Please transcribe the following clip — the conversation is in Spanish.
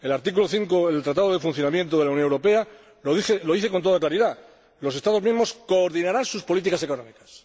El artículo 5 del Tratado de Funcionamiento de la Unión Europea lo dice con toda claridad Los Estados miembros coordinarán sus políticas económicas.